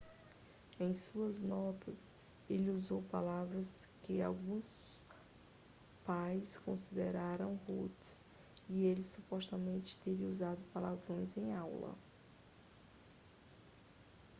em suas notas ele usou palavras que alguns pais consideraram rudes e ele supostamente teria usado palavrões em aula